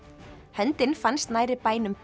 höndin fannst nærri bænum